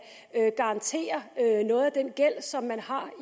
garantere noget af den gæld som man har